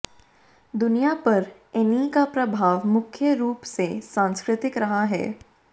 दुनिया पर ऐनी का प्रभाव मुख्य रूप से सांस्कृतिक रहा है